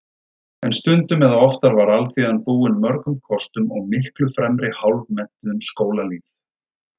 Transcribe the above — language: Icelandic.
En stundum eða oftar var alþýðan búin mörgum kostum og miklu fremri hálfmenntuðum skólalýð.